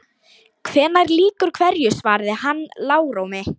Hvenær lýkur hverju svaraði hann lágróma.